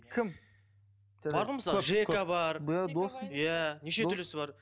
кім бар ғой мысалы жека бар иә неше түрлісі бар